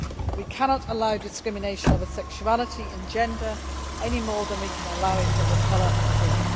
We cannot allow discrimination over sexuality and gender anymore than we can allow it over colour and creed.